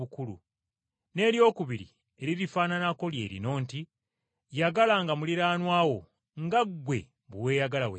N’eryokubiri eririfaananako lye lino nti, ‘Yagalanga muliraanwa wo nga gwe bwe weeyagala wekka.’